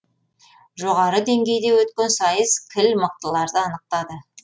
жоғары деңгейде өткен сайыс кіл мықтыларды анықтады